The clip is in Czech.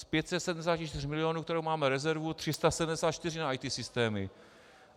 Z 574 milionů, které máme rezervu, 374 na IT systémy.